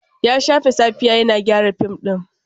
Ya shafe safiya yana gyara fim ɗin.